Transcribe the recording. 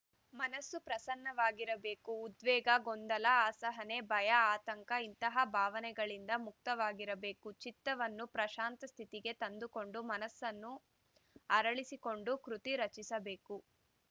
ಮನಸ್ಸು ಪ್ರಸನ್ನವಾಗಿರಬೇಕು ಉದ್ವೇಗ ಗೊಂದಲ ಅಸಹನೆ ಭಯ ಆತಂಕ ಇಂತಹ ಭಾವಗಳಿಂದ ಮುಕ್ತವಾಗಿರಬೇಕು ಚಿತ್ತವನ್ನು ಪ್ರಶಾಂತ ಸ್ಥಿತಿಗೆ ತಂದುಕೊಂಡು ಮನಸ್ಸನ್ನು ಅರಳಿಸಿಕೊಂಡು ಕೃತಿ ರಚಿಸಬೇಕು